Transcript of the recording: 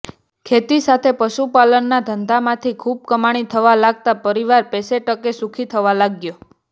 ખેતી સાથે પશુપાલનના ધંધામાંથી ખૂબ કમાણી થવા લાગતાં પરિવાર પૈસેટકે સુખી થવા લાગ્યો